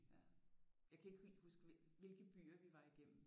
Ja jeg kan ikke helt huske hvilke byer vi var igennem